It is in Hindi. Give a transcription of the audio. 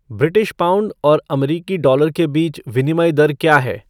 ब्रिटिश पौंड और अमरीकी डॉलर के बीच विनिमय दर क्या है